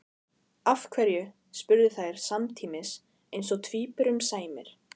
Af hverju? spurðu þær samtímis eins og tvíburum sæmir.